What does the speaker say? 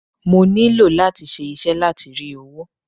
Mo nílò láti ṣe iṣẹ́ láti rí owó.